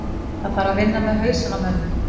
Það þarf að vinna með hausinn á mönnum.